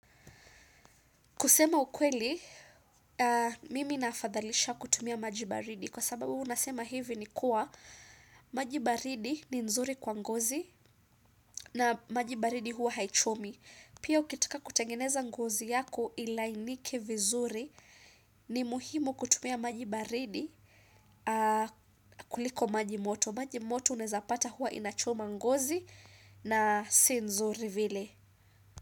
Kusema ukweli, mimi nafadhalisha kutumia majibaridi kwa sababu nasema hivi ni kuwa majibaridi ni nzuri kwa ngozi na majibaridi huwa haichomi. Pia ukitaka kutengeneza ngozi yako ilainike vizuri ni muhimu kutumia majibaridi kuliko majimoto. Majimoto unaezapata huwa inachoma ngozi na si nzuri vile.